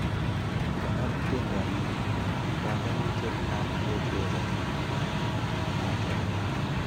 konor tendo ni eng banganuteit ab kecheza nachome